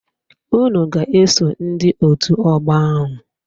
Unu ga-eso ndị otu ọgbọ ahụ.